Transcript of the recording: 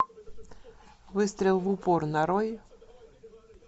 выстрел в упор нарой